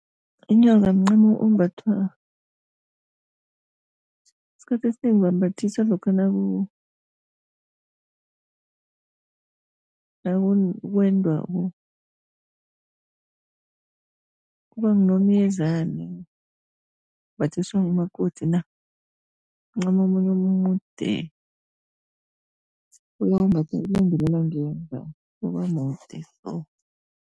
Inyoka mncamo ombathwa, isikhathi esinengi bambathisa lokha nakwenda kuba ngunomyezani, umbathiswa ngumakoti mncamo omunye omude ebawumbatha ubamude so.